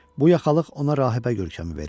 Bu yaxalıq ona rahibə görkəmi verirdi.